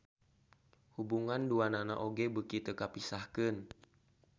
Hubungan duanana oge beuki teu kapisahkeun.